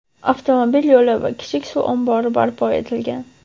avtomobil yo‘li va kichik suv ombori barpo etilgan.